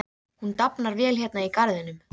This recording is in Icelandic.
Og ekkert mátti út af bregða.